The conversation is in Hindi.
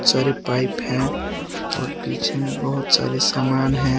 सारे पाइप है और पीछे में बहोत सारे सामान है।